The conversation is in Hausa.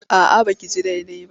A'a ba ki ji daidai ba.